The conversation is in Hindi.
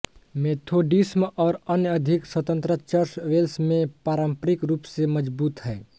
मेथोडिस्म और अन्य अधिक स्वतंत्र चर्च वेल्स में पारंपरिक रूप से मजबूत हैं